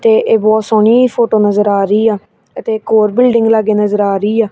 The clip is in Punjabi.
ਤੇ ਇਹ ਬਹਤ ਸੋਹਣੀ ਫੋਟੋ ਨਜ਼ਰ ਆ ਰਹੀ ਆ ਇੱਕ ਹੋਰ ਬਿਲਡਿੰਗ ਲਾਗੇ ਨਜ਼ਰ ਆ ਰਹੀ ਆ।